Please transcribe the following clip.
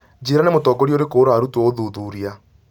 njĩĩra nĩ mũtongoria ũrĩkũ ũrarutwo ũthuthuria